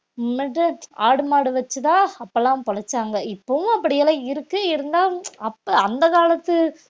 ஆடு, மாடு வச்சுதான் அப்பெல்லாம் பிழைச்சாங்க இப்பவும் அப்படியெல்லாம் இருக்கு இருந்தா அப்ப அந்த காலத்து